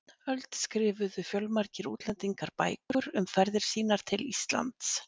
öld skrifuðu fjölmargir útlendingar bækur um ferðir sínar til Íslands.